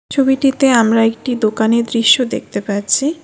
ছবিটিতে আমরা একটি দোকানের দৃশ্য দেখতে পাচ্ছি।